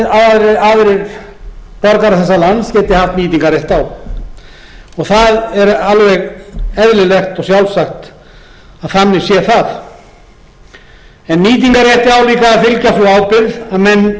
borgarar þessa lands geti haft nýtingarrétt á og það er alveg eðlilegt og sjálfsagt að þannig sé það nýtingarrétti á líka að fylgja sú ábyrgð að menn veiði heimildir sínar